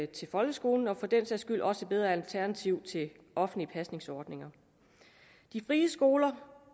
til folkeskolen og for den sags skyld også et bedre alternativ til de offentlige pasningsordninger de frie skoler